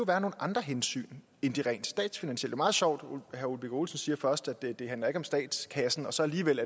være nogle andre hensyn end de rent statsfinansielle meget sjovt at herre ole birk olesen siger først at det ikke handler om statskassen og så alligevel